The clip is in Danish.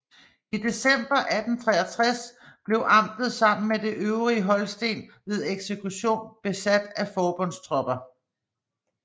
I december 1863 blev amtet sammen med det øvrige Holsten ved eksekution besat af forbundstropper